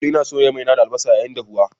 Kullum ina soya mai na da albasa yayin dahuwa.